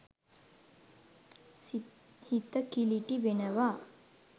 හිත කිළිටි වෙනවා.